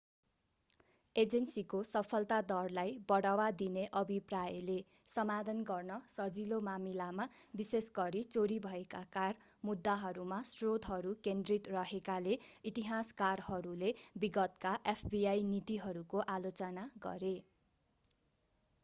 एजेन्सीको सफलता दरलाई बढावा दिने अभिप्रायले समाधान गर्न सजिलो मामिलामा विशेष गरी चोरी भएका कार मुद्दाहरूमा स्रोतहरू केन्द्रित रहेकाले इतिहासकारहरूले विगतका fbi नीतिहरूको आलोचना गरे